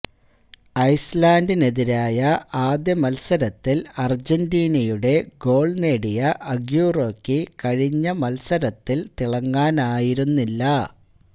ice ലന്ഡിനെതിരായ ആദ്യ മത്സരത്തില് അര്ജന്റീനയുടെ ഗോള് നേടിയ അഗ്യൂറോയ്ക്ക് കഴിഞ്ഞ മത്സരത്തില് തിളങ്ങാനായിരുന്നില്ല